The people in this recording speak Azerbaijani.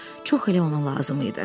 Çox elə ona lazım idi.